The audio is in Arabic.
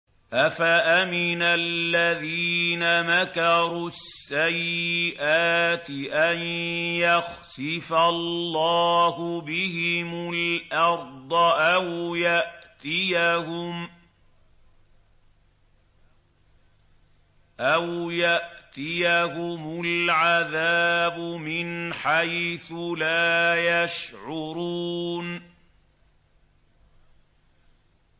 أَفَأَمِنَ الَّذِينَ مَكَرُوا السَّيِّئَاتِ أَن يَخْسِفَ اللَّهُ بِهِمُ الْأَرْضَ أَوْ يَأْتِيَهُمُ الْعَذَابُ مِنْ حَيْثُ لَا يَشْعُرُونَ